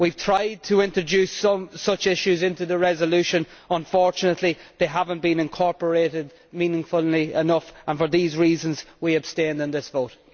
We have tried to introduce such issues into the resolution but unfortunately they have not been incorporated meaningfully enough, and for these reasons we abstain in this vote.